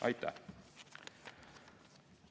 Aitäh!